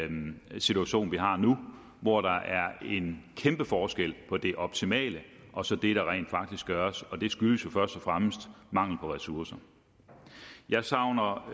den situation vi har nu hvor der er en kæmpe forskel på det optimale og så det der rent faktisk gøres og det skyldes jo først og fremmest mangel på ressourcer jeg savner